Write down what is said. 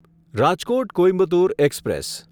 Rajkot Coimbatore express